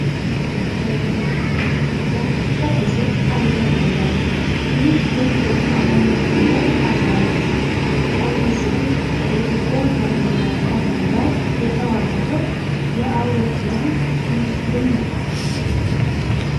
ወይ ጉድ! የአፍሪካ ግዙፍ አየር መንገድ! ይህ የኢትዮጵያ አየር መንገድ አርማ ነው! ቀዩ ጽሑፍ ከኢትዮጵያ ባንዲራ ቀለም ጋር የተዋሃደው የአውሮፕላን ክንፍ የሚያኮራ ነው!